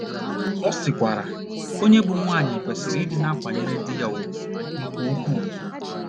Ọ sịkwara: “ Onye bụ́ nwunye kwesịrị ịdị na - akwanyere di ya ùgwù nke ukwuu. ”